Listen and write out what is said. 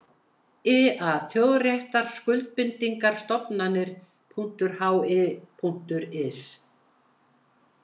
I A Þjóðréttarskuldbindingar stofnanir.hi.is.